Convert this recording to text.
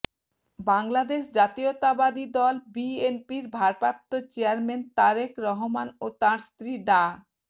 বাংলাদেশ জাতীয়তাবাদী দল বিএনপির ভারপ্রাপ্ত চেয়ারম্যান তারেক রহমান ও তাঁর স্ত্রী ডা